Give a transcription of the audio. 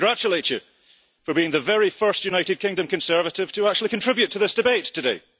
May I congratulate you for being the very first United Kingdom Conservative to actually contribute to this debate today.